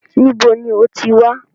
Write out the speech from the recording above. Níbo ní o ti wá?